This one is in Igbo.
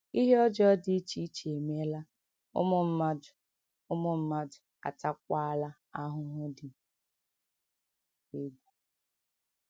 Ihe ọjọọ dị iche iche emeela, ụmụ mmadụ, ụmụ mmadụ ataakwala ahụhụ dị egwu.